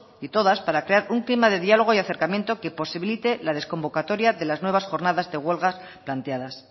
y todas para crear un clima de diálogo y acercamiento que posibilite la desconvocatoria de las nuevas jornadas de huelga planteadas